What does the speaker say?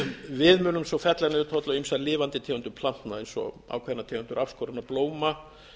við munu á fella niður tolla á ýmsar lifandi tegundir plantna eins og ákveðnar tegundir afskorinna blóma